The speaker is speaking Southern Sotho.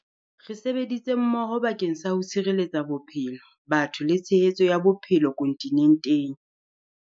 Re sebeditse mmoho bake ng sa ho tshireletsa bophelo, batho le tshehetso ya bophe lo kontinenteng.